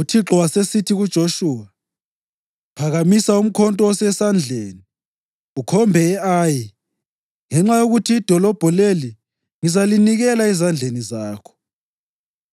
UThixo wasesithi kuJoshuwa, “Phakamisa umkhonto osesandleni ukhombe e-Ayi, ngenxa yokuthi idolobho leli ngizalinikela ezandleni zakho.”